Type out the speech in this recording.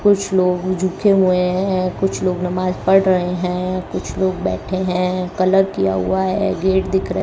कुछ लोग झुके हुए हैं कुछ लोग नमाज पढ़ रहे है कुछ लोग बैठे है कलर किया हुआ है गेट दिख रहे --